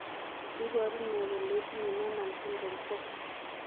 iporu ne kole itinye Noonan syndrome 4?